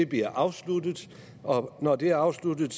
bliver afsluttet og når det er afsluttet